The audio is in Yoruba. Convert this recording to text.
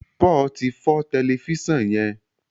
Paul tí fọ Tẹlifísàn yén.